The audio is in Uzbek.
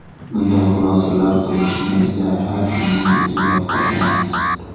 Bunday xulosalar qilishni esa har kimning o‘ziga qoldiramiz.